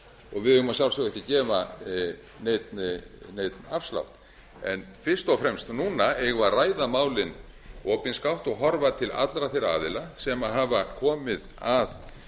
og við eigum að sjálfsögðu ekki að gefa neinn afslátt en fyrst og fremst núna eigum við að ræða málin opinskátt og horfa til allra þeirra aðila sem hafa komið að